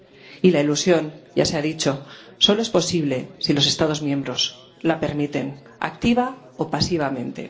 Y la elusión —ya se ha dicho— solo es posible si los Estados miembros la permiten activa o pasivamente.